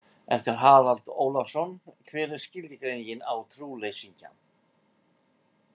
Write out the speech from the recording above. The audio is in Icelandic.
Eftir Harald Ólafsson Hver er skilgreiningin á trúleysingja?